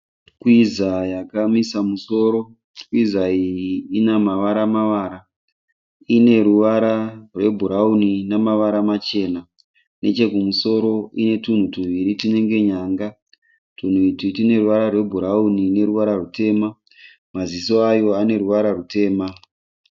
Twiza yakamisa musoro. Twiza iyi ine mavara mavara. Ine ruvara rwebhurauni namavara machena. Nechekumusoro ine tunhu tuviri tunenge nyanga. Tunhu utu tune ruvara rwebhurauni nerutema. Maziso ayo ane ruvara rutema.